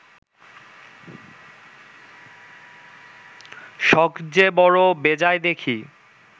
সখ যে বড় বেজায় দেখি